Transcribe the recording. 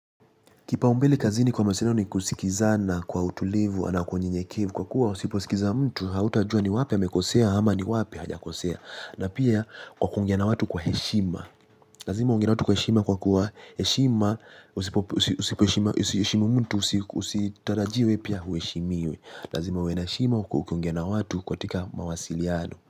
Kipaumbele kazini kwa mawasiliano ni kusikizana kwa utulivu na kwa unyenyekevu kwa kuwa usipo sikiza mtu hautajua ni wapi amekosea ama ni wapi hajakosea na pia kwa kuongea na watu kwa heshima. Lazima uongee na watu kwa kuwa heshima usipo heshima heshimu mtu usitarajie we pia ueshimiwe. Lazima uwe na heshima ukue ukiongea watu kwa tika mawasiliano.